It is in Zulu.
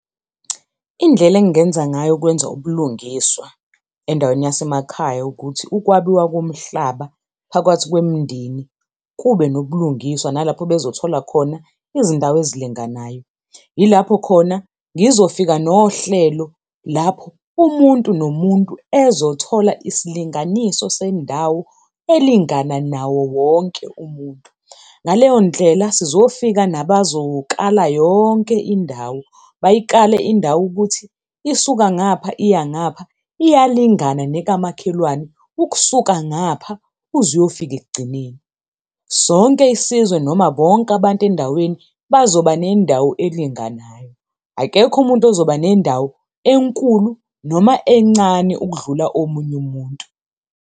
Indlela engenza ngayo ukwenza ubulungiswa, endaweni yasemakhaya ukuthi ukwabiwa komhlaba phakathi kwemndeni kube nobulungiswa nalapho bezothola khona izindawo ezilinganayo. Yilapho khona ngizofika nohlelo lapho umuntu nomuntu ezothola isilinganiso sendawo elingana nawo wonke umuntu. Ngaleyo ndlela sizofika nabazokala yonke indawo, bayikale indawo ukuthi isuka ngapha iya ngapha, iyalingana nekamakhelwane ukusuka ngapha uze uyofika ekugcineni. Sonke isizwe noma bonke abantu endaweni, bazoba nendawo elinganayo. Akekho umuntu ozoba nendawo enkulu noma encane ukudlula omunye umuntu.